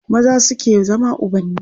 maza suke zama ubanni